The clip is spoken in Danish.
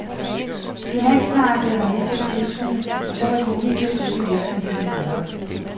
Finansmarkedet havde mistet tiltroen, og så var det umuligt at drive virksomheden videre.